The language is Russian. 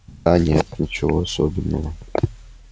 да нет ничего особенного